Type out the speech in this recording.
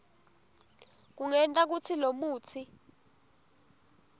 kungenta kutsi lomutsi